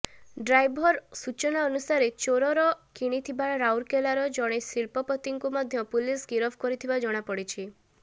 driver ସୂଚନା ଅନୁସାରେ ଚୋରେର କିଣିଥିବା ରାଉରକେଲାର ଜଣେ ଶିଲ୍ପପତିଙ୍କୁ ମଧ୍ୟ ପୁଲିସ ଗିରଫ କରିଥିବା ଜଣାପଡ଼ିଛି